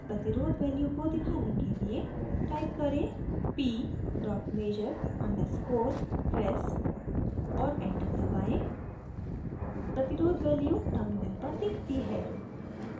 प्रतिरोध value को दिखाने के लिए type करें: p measure _ res और enter दबाएँ प्रतिरोध value टर्मिनल पर दिखती है